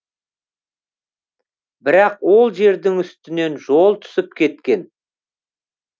бірақ ол жердің үстінен жол түсіп кеткен